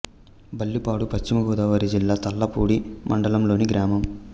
బల్లిపాడు పశ్చిమ గోదావరి జిల్లా తాళ్ళపూడి మండలం లోని గ్రామం